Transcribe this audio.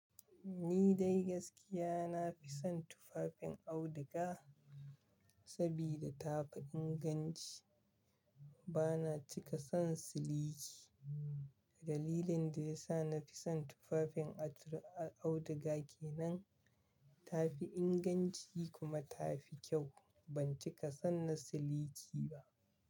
Ni dai gaskiya nafi son tufafin auduga, sabida tafi inganci. Bana cika son siliki. Dalilin da yasa nafi son tufafin auduga kenan, tafi inganci kuma tafi kyau. Ban cika son na siliki ba.